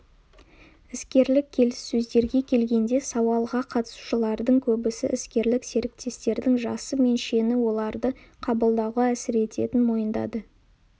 іскерлік келіссөздерге келгенде сауалға қатысушылардың көбісі іскерлік серіктестердің жасы мен шені оларды қабылдауға әсер ететінін мойындады